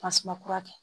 Tasuma kura kɛ